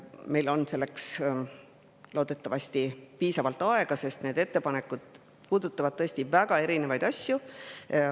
Meil on selleks loodetavasti piisavalt aega, sest need ettepanekud puudutavad tõesti väga erinevaid asju.